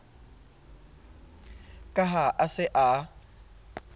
ka ha a se a